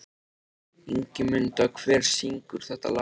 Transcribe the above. Ingimunda, hver syngur þetta lag?